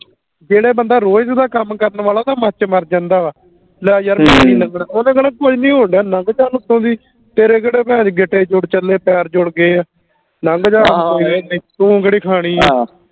ਜਿਹੜਾ ਬੰਦਾ ਰੋਜ ਦਾ ਕੰਮ ਕਰਨ ਵਾਲਾ ਉਹ ਤਾ ਮਰ ਕੇ ਮਰ ਜਾਂਦਾ ਵਾ ਲੈ ਯਾਰ ਓਹਨੇ ਕਹਿਣਾ ਕੋਈ ਨੀ ਹੋਣ ਦਿਆਂ ਨੰਗ ਜਾ ਉਤੋਂ ਦੀ ਤੇਰੇ ਕਿਹੜੇ ਗਿੱਟੇ ਜੁੜ ਚਲੇ ਪੈਰ ਜੁੜ ਗਏ ਆ ਨੰਗ ਜਾ ਤੂੰ ਕਿਹੜੀ ਖਾਣੀ ਆ